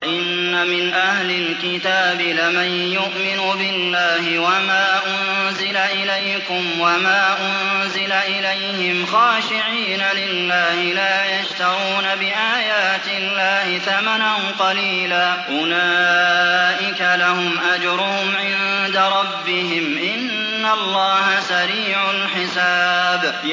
وَإِنَّ مِنْ أَهْلِ الْكِتَابِ لَمَن يُؤْمِنُ بِاللَّهِ وَمَا أُنزِلَ إِلَيْكُمْ وَمَا أُنزِلَ إِلَيْهِمْ خَاشِعِينَ لِلَّهِ لَا يَشْتَرُونَ بِآيَاتِ اللَّهِ ثَمَنًا قَلِيلًا ۗ أُولَٰئِكَ لَهُمْ أَجْرُهُمْ عِندَ رَبِّهِمْ ۗ إِنَّ اللَّهَ سَرِيعُ الْحِسَابِ